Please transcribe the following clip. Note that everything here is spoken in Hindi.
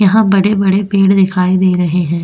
यहां बड़े-बड़े पेड़ दिखाई दे रहे हैं।